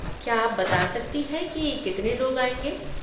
क्या आप बता सकती हैं कि कितने लोग आएँगे?